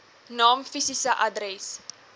naam fisiese adres